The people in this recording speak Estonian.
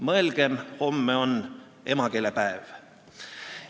Mõelgem, homme on emakeelepäev.